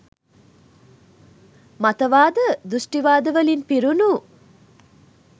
මතවාද, දෘෂ්ටිවාද වලින් පිරුණු